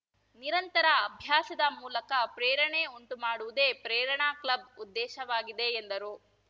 ನಿರಂತರ ಅಭ್ಯಾಸದ ಮೂಲಕ ಪ್ರೇರಣೆ ಉಂಟುಮಾಡುವುದೇ ಪ್ರೇರಣಾ ಕ್ಲಬ್‌ ಉದ್ದೇಶವಾಗಿದೆ ಎಂದರು